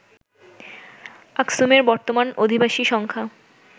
আকসুমের বর্তমান অধিবাসী সংখ্যা